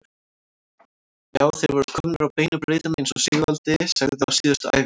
Já, þeir voru komnir á beinu brautina eins og Sigvaldi sagði á síðustu æfingu.